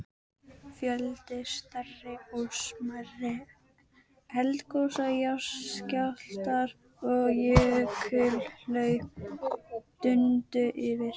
Fjöldi stærri og smærri eldgosa, jarðskjálftar og jökulhlaup dundu yfir.